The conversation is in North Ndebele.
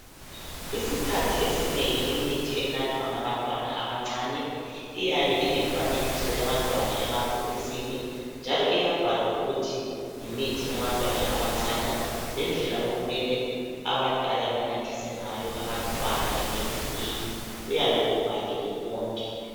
Isikhathi esinengi imithi enathwa ngabantwana abacane iyabe ilemfanekiso yabantwana emabhokisi njalo iyabhalwa lokuthi yimithi yabantwana abancane lendlela okumele abadala benathise ngayo abantwana imithi leyi kuyabe kubhaliwe konke.